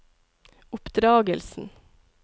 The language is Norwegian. oppdragelsen